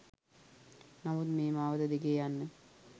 නමුත් මේ මාවත දිගේ යන්න